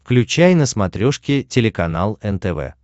включай на смотрешке телеканал нтв